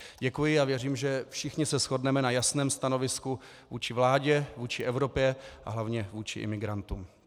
Děkuji a věřím, že všichni se shodneme na jasném stanovisku vůči vládě, vůči Evropě a hlavně vůči imigrantům.